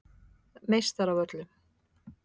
Meistaravöllum